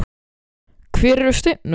Hver eru stefnumálin?